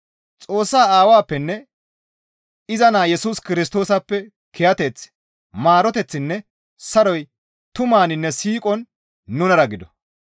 Xoossaa Aawappenne iza Naa Yesus Kirstoosappe kiyateththi, maaroteththinne saroy tumaninne siiqon nunara gido.